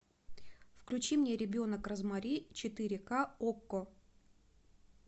включи мне ребенок розмари четыре ка окко